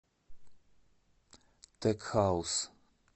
тек хаус